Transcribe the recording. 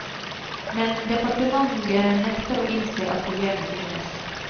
Men departementet nekter å innse at problemet finnes.